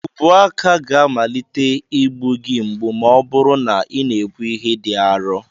Ubuaka ga-amalite ịgbu gị mgbu ma ọ bụrụ na ị na-ebu ihe dị arọ